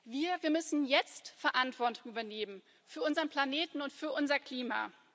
Wir müssen jetzt Verantwortung übernehmen für unseren Planeten und für unser Klima.